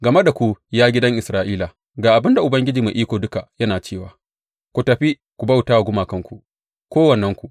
Game da ku, ya gidan Isra’ila, ga abin da Ubangiji Mai Iko Duka yana cewa ku tafi ku bauta wa gumakanku, kowannenku!